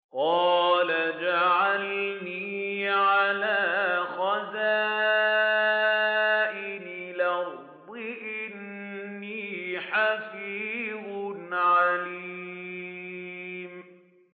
قَالَ اجْعَلْنِي عَلَىٰ خَزَائِنِ الْأَرْضِ ۖ إِنِّي حَفِيظٌ عَلِيمٌ